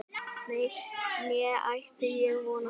Nei, né ætti ég von á því